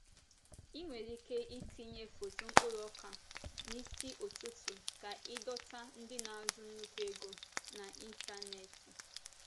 Ị nwere ike itinye foto mkpụrụ ọka n'isi ụtụtụ ka ịdọta ndị na-azụ nnukwu ego n’ịntanetị.